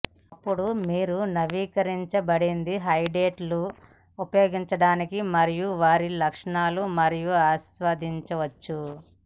అప్పుడు మీరు నవీకరించబడింది హెడ్లైట్లు ఉపయోగించడానికి మరియు వారి లక్షణాలు మరియు ఆస్వాదించవచ్చు